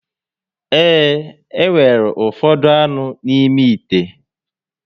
Ee, e nwere ufodu anu n'ime ite